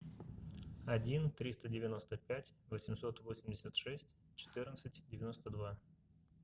один триста девяносто пять восемьсот восемьдесят шесть четырнадцать девяносто два